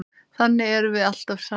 Þannig erum við alltaf saman.